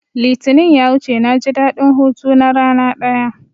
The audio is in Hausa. Litinin ya wuce naji daɗin hutu na rana ɗaya